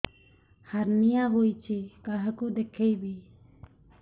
hernia ହୋଇଛି କାହାକୁ ଦେଖେଇବି